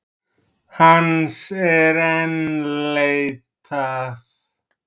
Hans er enn leitað.